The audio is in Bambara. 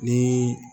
Ni